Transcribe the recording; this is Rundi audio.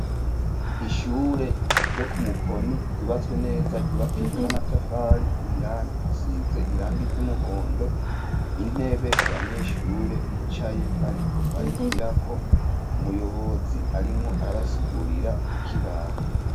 Ishure ryo ku mukoni ryubatswe neza ryubakijwe n'amatafari indani hasize irangi ry'umuhondo intebe abanyeshure bicaye bariko barigirako umuyobozi arimwo arabasigurira ku kibaho.